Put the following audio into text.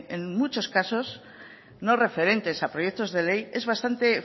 en muchos casos no referentes a proyectos de ley es bastante